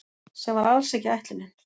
Sem var alls ekki ætlunin